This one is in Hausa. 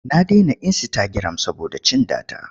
Na dena insitagiram saboda cin data.